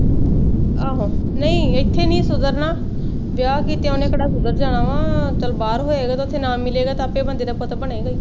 ਆਹੋ, ਨਹੀਂ ਇੱਥੇ ਨੀ ਸੁਧਰਨਾ, ਵਿਆਹ ਕੀਤਿਆ ਕਿਹੜਾ ਉਹਨੇ ਸੁਧਰ ਜਾਣਾ ਵਾ ਚੱਲ ਬਾਹਰ ਹੋਏਗਾ ਤੇ ਉੱਥੇ ਨਾ ਮਿਲੇਗਾ ਤੇ ਆਪੇ ਬੰਦੇ ਦਾ ਪੁੱਤ ਬਣੇਗਾ ਈ